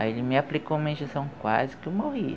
Aí ele me aplicou uma injeção, quase que eu morri.